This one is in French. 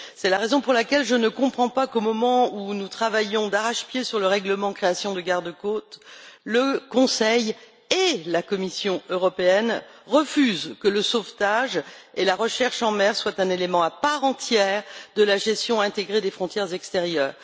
C'est la raison pour laquelle je ne comprends pas qu'au moment où nous travaillons d'arrache pied sur le règlement de création d'un corps européen de gardes frontières et de garde côtes, le Conseil et la Commission européenne refusent que le sauvetage et la recherche en mer soient un élément à part entière de la gestion intégrée des frontières extérieures.